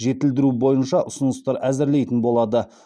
жетілдіру бойынша ұсыныстар әзірлейтін болады